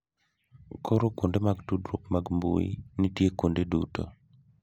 Koro kuonde mag tudruok mag mbui nitie kuonde duto.